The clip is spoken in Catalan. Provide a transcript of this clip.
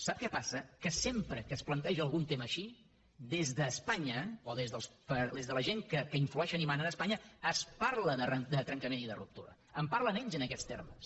sap què passa que sempre que es planteja algun tema així des d’espanya o des de la gent que influeixen i manen a espanya es parla de trencament i de ruptura en parlen ells en aquests termes